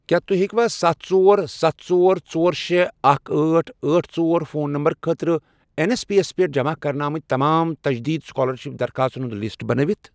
کیٛاہ تُہۍ ہیٚکوا ستھ، ژۄر، ستھ، ژور، ژور، شے، اکھ، أٹھ، أٹھ، ژۄر، فون نمبر خٲطرٕ این ایس پی یَس پٮ۪ٹھ جمع کرنہٕ آمٕتۍ تمام تجدیٖد سُکالرشِپ درخواستن ہُنٛد لسٹ بنٲوِتھ؟